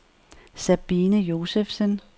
Sabine Josefsen